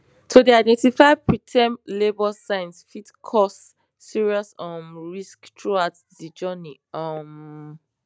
to dey identify preterm labour signs fit cause serious um risks throughout de journey um